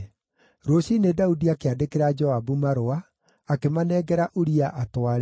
Rũciinĩ Daudi akĩandĩkĩra Joabu marũa, akĩmanengera Uria atware.